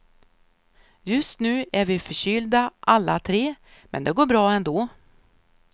Just nu är vi förkylda alla tre, men det går bra ändå.